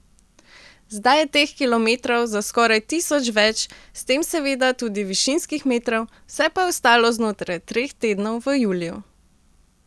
Zdaj je teh kilometrov za skoraj tisoč več, s tem seveda tudi višinskih metrov, vse pa je ostalo znotraj treh tednov v juliju.